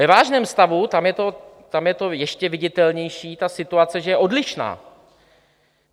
Ve vážném stavu, tam je to ještě viditelnější, ta situace že je odlišná.